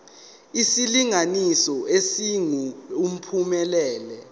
isilinganiso esingu uphumelele